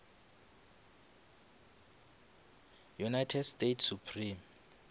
united states supreme